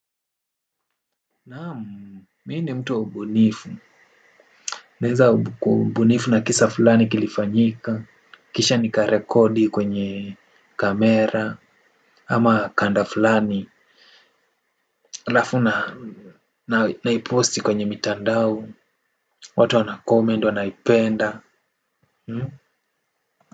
Naam mi ni mtu wa ubunifu. Naeza kubuni na kisa fulani kilifanyika. Kisha nikarekodi kwenye kamera ama kanda fulani halafu naiposti kwenye mitandao. Watu wanacomment wanaipenda.